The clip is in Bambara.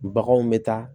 Baganw bɛ taa